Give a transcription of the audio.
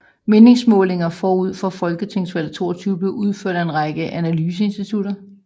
Meningsmålinger forud for folketingsvalg 2022 blev udført af en række analyseinstitutter